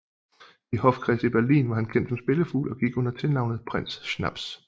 I hofkredse i Berlin var han kendt som spillefugl og gik under tilnavnet Prinz Schnaps